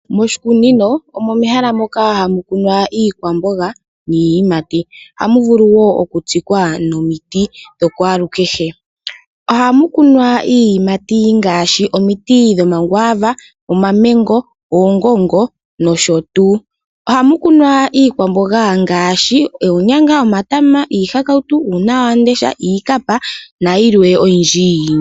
Moshikunino omo mehala moka hamukunwa iikwambonga niiyimati, hawuvulu wo okutsikwa nomiti dhokwalu kehe, hamukunwa iiyimati ngashi, omiti dhomakwava, omamengo, ongongo nosho tu hamukunwa iikwambonga ngashi onyanga, omatama, iihakawutu, uuna wandesha, iikapa nayilwe oyindji.